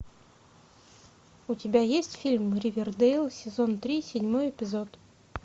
у тебя есть фильм ривердейл сезон три седьмой эпизод